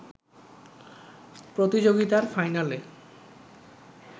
প্রতিযোগিতার ফাইনালে